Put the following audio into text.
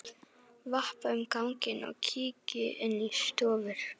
Vappa um ganginn og kíki inn í stofur.